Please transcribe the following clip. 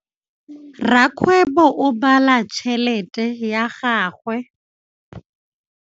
Rakgwêbô o bala tšheletê ya gagwe.